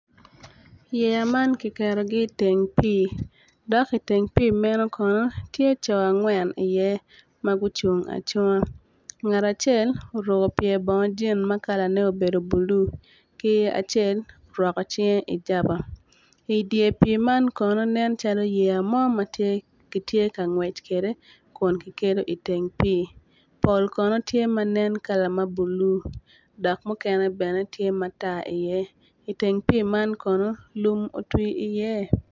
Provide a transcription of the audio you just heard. Yeya man giketogi iteng pii dok iteng pii meno kono ti co angwen iye ma gucung acunga ngat acel oruku pye bongo jin ma kalane obedo bulu ki acel orwako cinge ijaba i dye pii man kono nen calo yeya mo ma gitye ka ngwec kede kun ki kelo iteng pii pol kono tye ma nen kala ma bulu dok mukene bene tye matar iye iteng pii man kono lum otwi iye